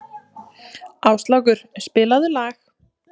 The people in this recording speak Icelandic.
Áslákur, spilaðu lag.